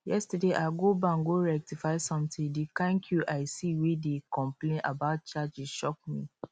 yesterday i go bank go rectify something the kyn queue i see wey dey complain about charges shock me